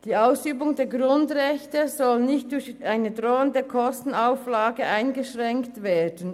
Die Ausübung der Grundrechte soll nicht durch eine drohende Kostenauflage eingeschränkt werden.